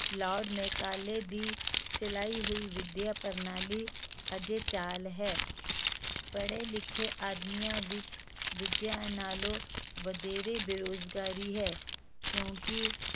Lord Macaulay ਦੀ ਚਲਾਈ ਹੋਈ ਵਿੱਦਿਆ ਪ੍ਰਣਾਲੀ ਅਜੇ ਚਾਲ ਹੈ, ਪੜ੍ਹੇ ਲਿਖੇ ਆਦਮੀਆਂ ਵਿੱਚ ਦੂਜਿਆਂ ਨਾਲੋਂ ਵਧੇਰੇ ਬੇਰੁਜ਼ਗਾਰੀ ਹੈ ਕਿਉਂਕਿ